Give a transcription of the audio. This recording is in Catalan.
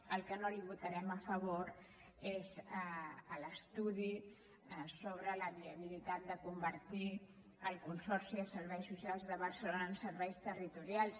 el que no li votarem a favor és l’estudi sobre la viabili·tat de convertir el consorci de serveis socials de bar·celona en serveis territorials